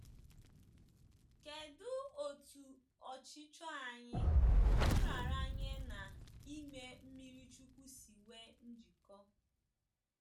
Kedụ otú ọchịchọ anyị, nraranye na ime mmiri chukwu si nwee njikọ?